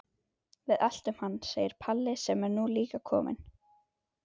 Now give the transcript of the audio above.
Við eltum hann, segir Palli sem er nú líka kominn.